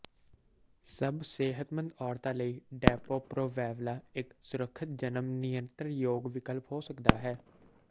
ਸਭ ਸਿਹਤਮੰਦ ਔਰਤਾਂ ਲਈ ਡੈਪੋ ਪ੍ਰੋਵੈਵਲਾ ਇੱਕ ਸੁਰੱਖਿਅਤ ਜਨਮ ਨਿਯੰਤਰਣ ਵਿਕਲਪ ਹੋ ਸਕਦਾ ਹੈ